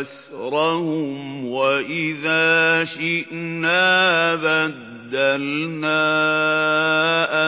أَسْرَهُمْ ۖ وَإِذَا شِئْنَا بَدَّلْنَا